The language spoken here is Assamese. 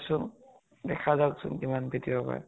চোন দেখা যাওক চোন কিমান পিতিব পাৰে।